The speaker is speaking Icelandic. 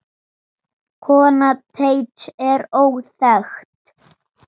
Kona Teits er óþekkt.